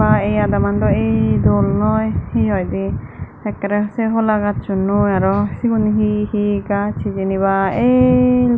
ba ey adaman daw ey dol noi hi hoide ekkere se hola gazsunnoi araw sigun hi hi gaz hijeni ba el.